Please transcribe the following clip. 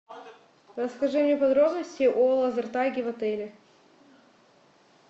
расскажи мне подробности о лазертаге в отеле